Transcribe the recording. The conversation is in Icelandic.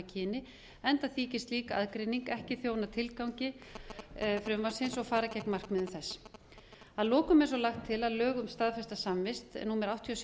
kyni enda þykir slík aðgreining ekki þjóna tilgang frumvarpsins og fara gegn markmiðum þess að lokum er svo lagt til að lög um staðfesta samvist númer áttatíu og sjö